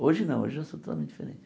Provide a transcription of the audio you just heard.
Hoje não, hoje eu sou totalmente diferente.